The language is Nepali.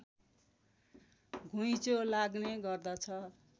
घुइँचो लाग्ने गर्दछ